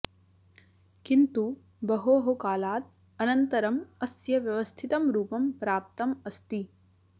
किन्तु बहोः कालात् अनन्तरम् अस्य व्यवस्थितं रूपं प्राप्तम् अस्ति